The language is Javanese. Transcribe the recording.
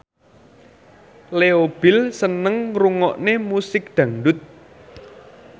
Leo Bill seneng ngrungokne musik dangdut